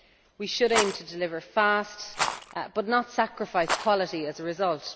We should aim to deliver fast, but not sacrifice quality as a result.